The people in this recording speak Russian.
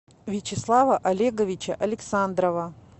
вячеслава олеговича александрова